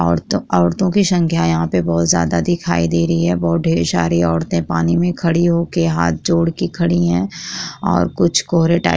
औरतों औरतों की संख्या यहाँ पे बोहोत ज्यादा दिखाई दे रही है बहुत ढ़ेर सारी औरतें पानी में खड़ी होके हाथ जोड़के खड़ी है और कुछ कोहरे टाइप --